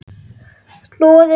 Hnoðið saman.